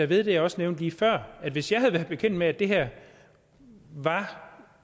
ved det jeg også nævnte lige før at hvis jeg havde været bekendt med at det her var